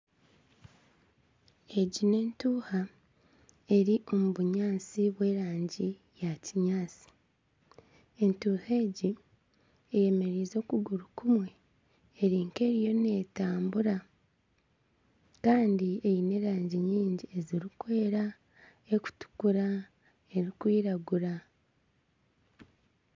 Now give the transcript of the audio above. Egi ni entuha eri omu bunyantsi bwa erangi ya kinyantsi entuha egi eyemereize okuguru kumwe erinka eriyo netambura Kandi eine erangi nyingi ezirikwera, erikutukura , erikwiragura.